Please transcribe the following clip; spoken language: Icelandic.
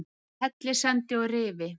Á Hellissandi og Rifi